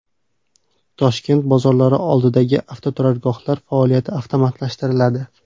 Toshkent bozorlari oldidagi avtoturargohlar faoliyati avtomatlashtiriladi.